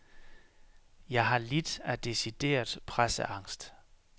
Jeg har lidt af decideret presseangst.